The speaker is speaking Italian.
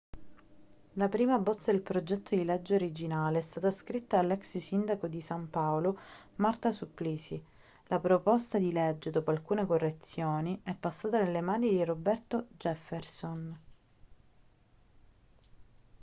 la prima bozza del progetto di legge originale è stata scritta dall'ex sindaco di san paolo marta suplicy la proposta di legge dopo alcune correzioni è passata nelle mani di roberto jefferson